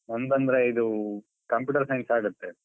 ನಂದು ಅಂದ್ರೆ ಇದು computer science ಆಗತ್ತೆ.